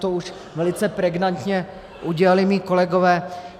To už velice pregnantně udělali moji kolegové.